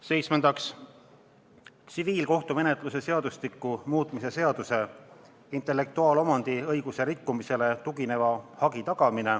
Seitsmendaks, tsiviilkohtumenetluse seadustiku muutmise seaduse eelnõu.